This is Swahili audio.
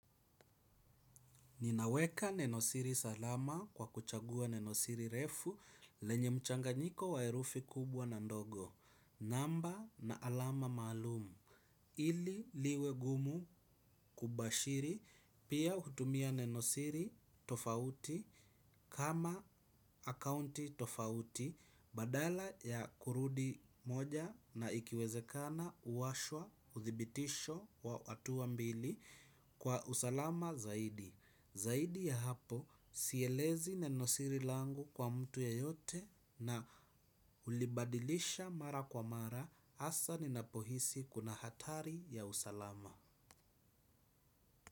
Ninaweka nenosiri salama kwa kuchagua nenosiri refu lenye mchanganyiko wa herufi kubwa na ndogo. Namba na alama maalumu. Ili liwe gumu kubashiri pia hutumia nenosiri tofauti kama akaunti tofauti badala ya kurudi moja na ikiwezekana uwashwa, uthibitisho wa wa hatuwa mbili kwa usalama zaidi. Zaidi ya hapo, sielezi na nosiri langu kwa mtu yeyote na hulibadilisha mara kwa mara hasa ninapo hisi kuna hatari ya usalama.